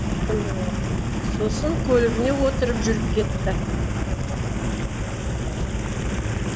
сосын көлігіне отырып жүріп кетті